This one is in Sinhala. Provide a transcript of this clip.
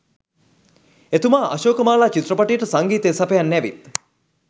එතුමා අශෝකමාලා චිත්‍රපටියට සංගීතය සපයන්න ඇවිත්